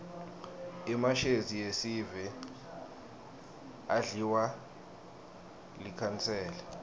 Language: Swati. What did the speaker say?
emashezi esive adliwa likhansela